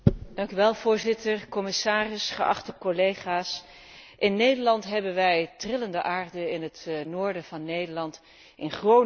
Voorzitter, commissaris, geachte collega's, in Nederland hebben wij trillende aarde, in het noorden van Nederland, in Groningen.